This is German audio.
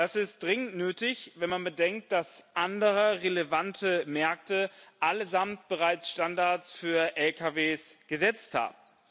Das ist dringend nötig, wenn man bedenkt, dass andere relevante Märkte allesamt bereits Standards für Lkw gesetzt haben.